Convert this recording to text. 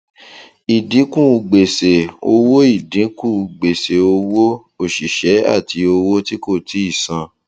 ìdínkù gbèsè owó ìdínkù gbèsè owó òṣìṣẹ àti owó tí kò tíì san